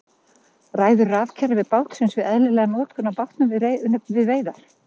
Ræður rafkerfi bátsins við eðlilega notkun á bátnum við veiðar?